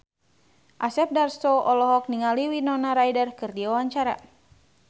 Asep Darso olohok ningali Winona Ryder keur diwawancara